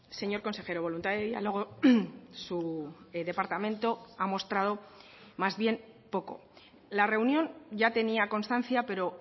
señor consejero voluntad de diálogo su departamento ha mostrado más bien poco la reunión ya tenía constancia pero